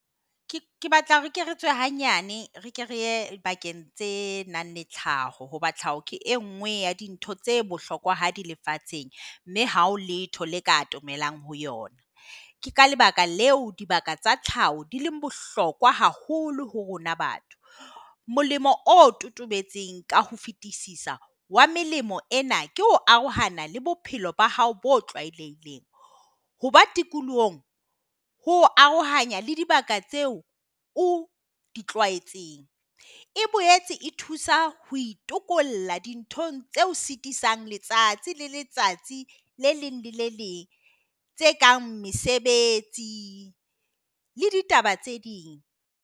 Ke batla hore hanyane re kereye bakeng tse nang le tlhaho Ho batla gore ke e nngwe ya dintho. Tse bohlokwa ha di lefatsheng mme hao letho le ka thomelang ho yona. Ka lebaka leo dibaka tsa tlhaho di leng bohlokoa haholo ho rona. Batho Molemo o totobetse ka ho fetisisa wa melemo. Ena ke ho arohana le bophelo ba hao bo hoba tikolohong ho arohanya le dibaka tseo. O e boetse e thusa ho dinthong tseo Sitisang letsatsi le letsatsi le leng. Lele leng tse kang mesebetsi la ditaba tse ding.